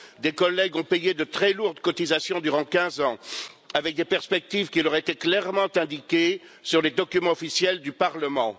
Des collègues ont payé de très lourdes cotisations durant 15 ans, avec des perspectives qui leur étaient clairement indiquées sur les documents officiels du Parlement.